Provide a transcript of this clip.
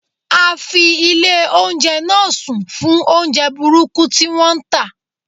A fi ilé oúnjẹ náà sùn fún oúnjẹ burúkú tí wón ń tà.